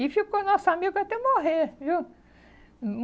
E ficou nosso amigo até morrer, viu? Hum, hum.